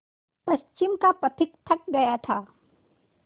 पश्चिम का पथिक थक गया था